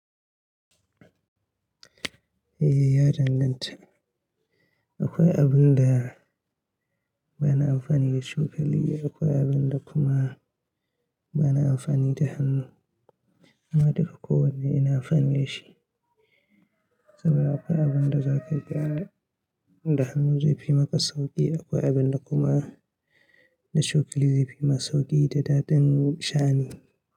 Eh ya danganta. Akwai abun da bana amfani da cokali, akwai abun da kuma bana amfani da hannu amma duka kowanne ina amfani da shi. Saboda akwai abun da za ka gyara da hannu zai fi maka sauƙi, akwai abun da kuma da cokali zai fi ma sauƙi da daɗin sha'ani.